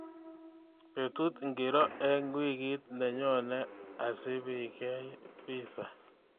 Betut ngiro eng wiikit nenyone asipikea pisaa